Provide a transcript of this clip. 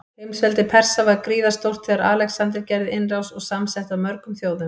Heimsveldi Persa var gríðarstórt þegar Alexander gerði innrás, og samsett af mörgum þjóðum.